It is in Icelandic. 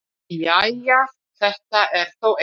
Jæja, þetta er þó eitthvað.